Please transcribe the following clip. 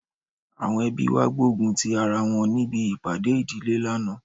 Àwọn ẹbí wa gbógun ti ara wọn níbi ìpàdé ìdílé lánàá